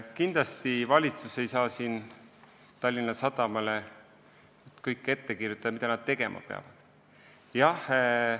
Kindlasti ei saa valitsus Tallinna Sadamale kõike, mida nad tegema peavad, ette kirjutada.